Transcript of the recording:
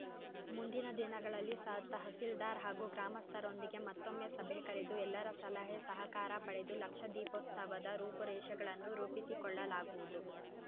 ಮುಂದಿನ ದಿನಗಳಲ್ಲಿ ಸ ತಹಸೀಲ್ದಾರ್‌ ಹಾಗೂ ಗ್ರಾಮಸ್ಥರೊಂದಿಗೆ ಮತ್ತೊಮ್ಮೆ ಸಭೆ ಕರೆದು ಎಲ್ಲರ ಸಲಹೆ ಸಹಕಾರ ಪಡೆದು ಲಕ್ಷ ದೀಪೋತ್ಸವದ ರೂಪುರೇಷಗಳನ್ನು ರೂಪಿಸಿಕೊಳ್ಳಲಾಗುವುದು